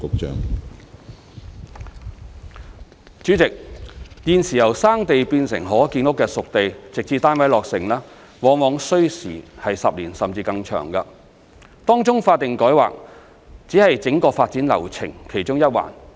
主席，現時由"生地"變成可建屋的"熟地"，直至單位落成，往往需時10年，甚至更長時間，當中法定改劃只是整個發展流程其中一環。